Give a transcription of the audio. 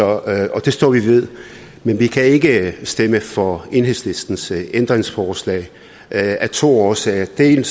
og det står vi ved men vi kan ikke stemme for enhedslistens ændringsforslag af to årsager det er